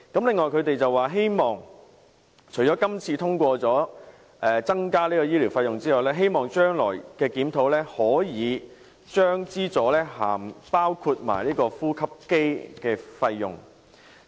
此外，除了今次通過增加醫療費用之外，他們希望將來的檢討可以將資助涵蓋呼吸機的費用。